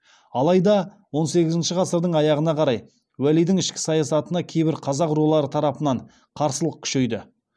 алайда он сегізінші ғасырдың аяғына қарай уәлидің ішкі саясатына кейбір қазақ рулары тарапынан қарсылық күшейді